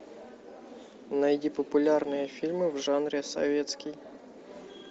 найди популярные фильмы в жанре советский